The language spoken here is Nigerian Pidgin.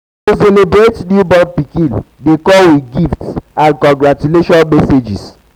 to celebrate um to celebrate um newborn pikin de come with gifts um and um congratutlaion messages